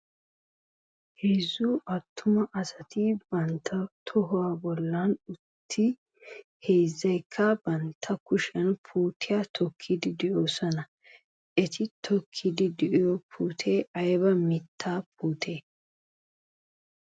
Heezzu attuma asati bantta toho bollan uttidi heezzaykka bantta kushiyan puutiya tokkiiddi de'oosona. Eti tokkiddi de"iyo puutee ayba mittaa puutee?